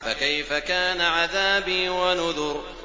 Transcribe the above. فَكَيْفَ كَانَ عَذَابِي وَنُذُرِ